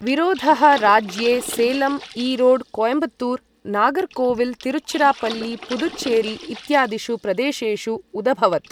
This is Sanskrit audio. विरोधः राज्ये सेलम्, ईरोड्, कोयम्बत्तूर, नागर्कोविल्, तिरुचिरापल्लि, पुदुच्चेरि इत्यादिषु प्रेदेशेषु उदभवत्।